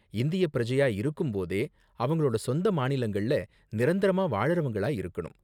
இந்திய பிரஜையாக இருக்கும் போதே, அவங்களோட சொந்த மாநிலங்கள்ல நிரந்தரமா வாழ்றவங்களா இருக்கணும்.